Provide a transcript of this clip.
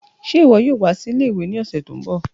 Ṣe iwọ yoo wa si ìle-ìwe ni ọsẹ ti n bọ?